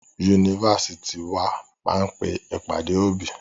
Yunifásitì wa máa pe ìpàdé òbí.